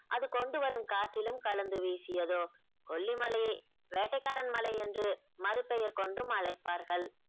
அது கொண்டு வரும் காற்றிலும் கலந்து வீசியதோ கொல்லிமலையை வேட்டைக்காரன் மலை என்று மறு பெயர் கொண்டும் அழைப்பார்கள்